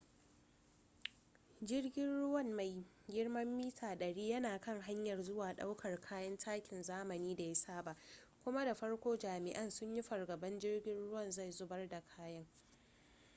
jirgin ruwan mai girman mita-100 yana kan hanyar zuwa ɗaukar kayan takin zamani da ya saba kuma da farko jami'ai sun yi fargabar jirgin ruwan zai zubar da kaya